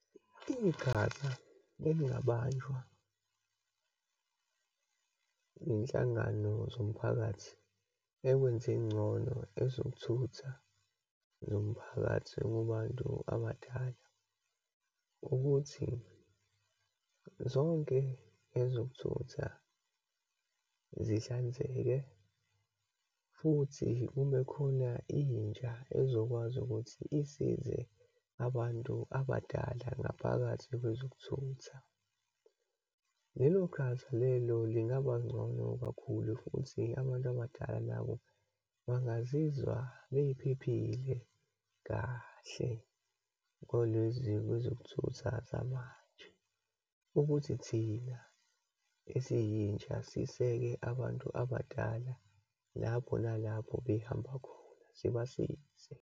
Iqhaza elingabanjwa iyinhlangano zomphakathi ekwenzeni ingcono ezokuthutha zomphakathi kubantu abadala, ukuthi zonke ezokuthutha zihlanzeke, futhi kube khona intsha ezokwazi ukuthi isize abantu abadala ngaphakathi kwezokuthutha. Lelo qhaza lelo lingaba ngcono kakhulu ekufundiseni abantu abadala bangazizwa bephephile kahle kwalezi kwezokuthutha zamanje. Ukuthi thina esiyintsha, siseke abantu abadala lapho nalapho behamba khona, sibasize.